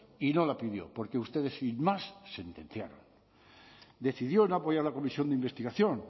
y no la pidió porque ustedes sin más sentenciaron decidieron no apoyar la comisión de investigación